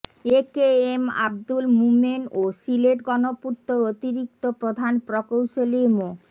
এ K M Abdul Momen ও সিলেট গণপূর্তর অতিরিক্ত প্রধান প্রকৌশলী মো